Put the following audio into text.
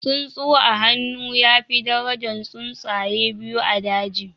Tsuntsu a hannu ya fi darajan tsuntsaye biyu a daji